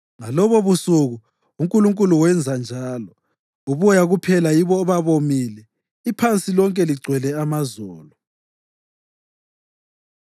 Ngalobobusuku uNkulunkulu wenza njalo. Uboya kuphela yibo obabomile; iphansi lonke ligcwele amazolo.